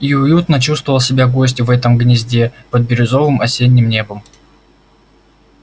и уютно чувствовал себя гость в этом гнезде под бирюзовым осенним небом